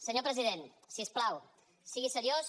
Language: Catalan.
senyor president si us plau sigui seriós